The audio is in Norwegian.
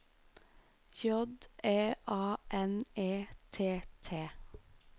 J E A N E T T